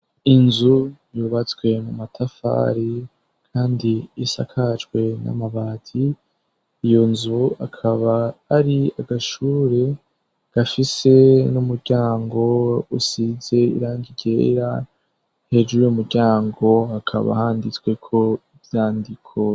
Inzu yubatswe mu matafari kandi isakajwe n'amabati iyo nzu akaba ari agashure gafise n'umuryango usize irangigera hejuru y'umuryango akaba handitswe ko ivyandiko.